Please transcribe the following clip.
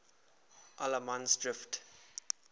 allemansdrift